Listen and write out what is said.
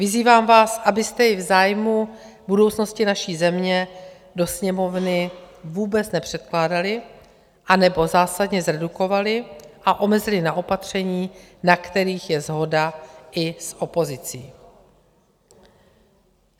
Vyzývám vás, abyste jej v zájmu budoucnosti naší země do Sněmovny vůbec nepředkládali, anebo zásadně zredukovali a omezili na opatření, na kterých je shoda i s opozicí.